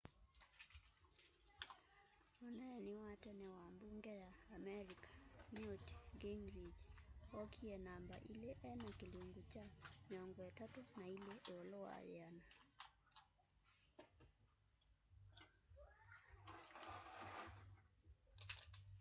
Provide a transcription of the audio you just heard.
muneeni wa tene wa mbunge ya amerika newt gingrich okie namba ili ena kilungu kya 32 ilu wa yiana